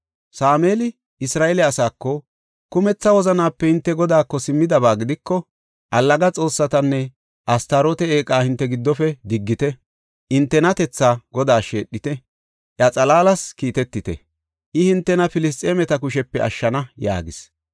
Sameeli Isra7eele asaako, “Kumetha wozanape hinte Godaako simmidaba gidiko, allaga xoossatanne Astaroote eeqa hinte giddofe diggite. Hintenatethaa Godaas sheedhite; iya xalaalas kiitetite; I hintena Filisxeemeta kushepe ashshana” yaagis.